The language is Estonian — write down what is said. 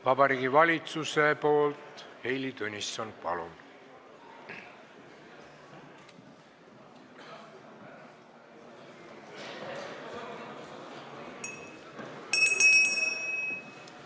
Vabariigi Valitsuse nimel Heili Tõnisson, palun!